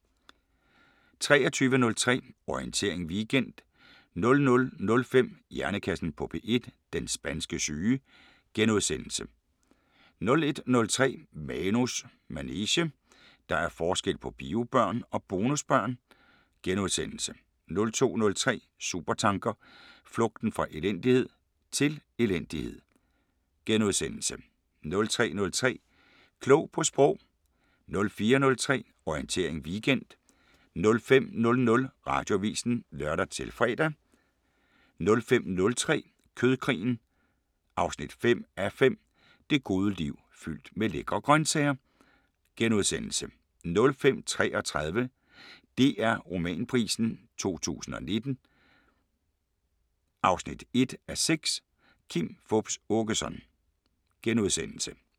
23:03: Orientering Weekend 00:05: Hjernekassen på P1: Den spanske syge * 01:03: Manus manege: Der er forskel på biobørn og bonusbørn * 02:03: Supertanker: Flugten fra elendighed – til elendighed? * 03:03: Klog på Sprog 04:03: Orientering Weekend 05:00: Radioavisen (lør-fre) 05:03: Kødkrigen 5:5 – Det gode liv fyldt med lækre grøntsager * 05:33: DR Romanprisen 2019 1:6 – Kim Fupz Aakeson *